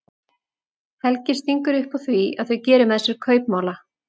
Helgi stingur upp á því að þau geri með sér kaupmála.